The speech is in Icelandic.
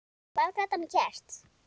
Hvað gat hann gert?